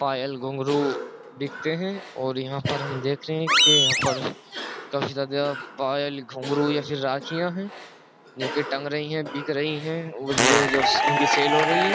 पायल घुंघरू बिकते हैं और यहाँ पर हम देख रहे हैं कि यहाँ पर काफी ज्यादा पायल घुंघरू या फिर राखियां हैं जो कि टंग रही है बिक रही है और ये जो इनकी सेल हो रही है।